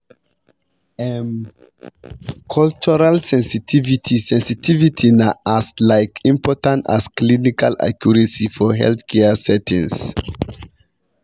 um cultural sensitivity sensitivity na as laik important as clinical accuracy for healthcare settings.